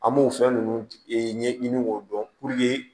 An b'o fɛn ninnu ɲɛɲini k'o dɔn